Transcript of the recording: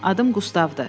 Adım Qustavdır.